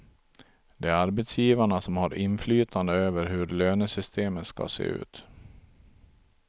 Det är arbetsgivarna som har inflytande över hur lönesystemen skall se ut.